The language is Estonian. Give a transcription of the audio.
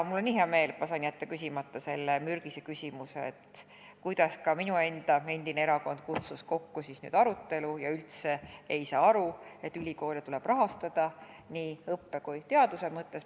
Mul on nii hea meel, et saan jätta küsimata selle mürgise küsimuse, kuidas minu enda endine erakond kutsus kokku aruteluringi, saamata üldse aru, et ülikoole tuleb rahastada nii õppe kui ka teaduse mõttes.